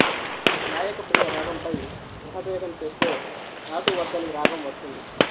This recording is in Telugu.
గాయకప్రియ రాగంపై గ్రహ భేదం చేస్తే ధాతువర్ధని రాగం వస్తుంది